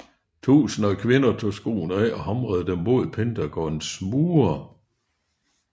Tusinder af kvinder tog skoene af og hamrede dem mod Pentagons mure